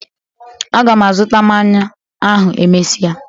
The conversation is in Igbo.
A ga m azuta mmanya ahụ emesia